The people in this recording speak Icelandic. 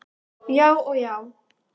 Já og já!